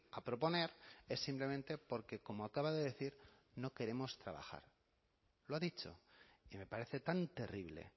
a proponer es simplemente porque como acaba de decir no queremos trabajar lo dicho y me parece tan terrible